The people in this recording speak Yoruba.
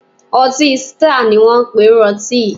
Ọtí Sítáà ni wón ń pe irú ọtí yìí.